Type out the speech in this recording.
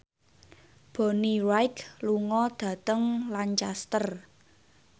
Bonnie Wright lunga dhateng Lancaster